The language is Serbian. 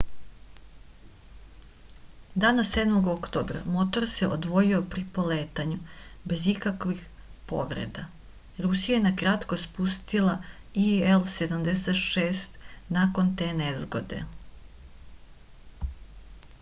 dana 7. oktobra se motor odvojio pri poletanju bez ikakvih povreda rusija je na kratko spustila ii-76 nakon te nezgode